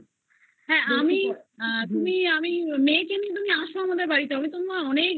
হ্যা আমি তুমি মেয়েকে নিয়ে এস আমাদের বাড়িতে তোমায় আমি অনেক